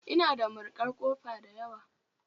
Ina da marikan kofa dayawa